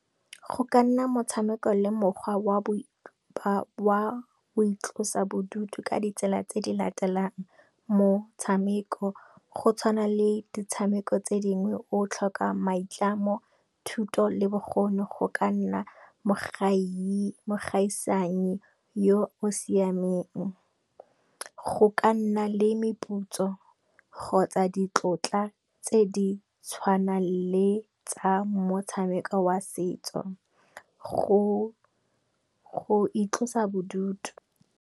Go ka nna motshameko le mokgwa wa boitlosa bodutu ka ditsela tse di latelang motshameko, go tshwana le ditshameko tse dingwe o tlhoka maitlamo, thuto le bokgoni go ka nna mo gaisanyi yo o siameng. Go ka nna le meputso kgotsa ditlotla tse di tshwanang le tsa motshameko wa setso go itlosa bodutu.